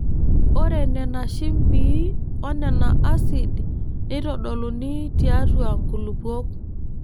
Ore Nena shimbii onena asid neitodoluni tiatua nkulupuok.